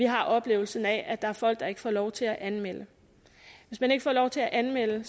har oplevelsen af at der er folk der ikke får lov til at anmelde hvis man ikke får lov til at anmelde